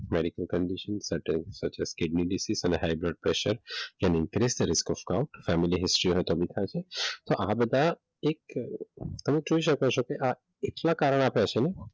medical condition છે kidney disease અને high blood pressure અને ઇન્ક્રીઝ આ બધા એક તમે જોઈ શકો છો કે આ કેટલા કારણ આપ્યા છે ને,